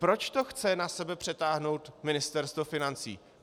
Proč to chce na sebe přetáhnout Ministerstvo financí?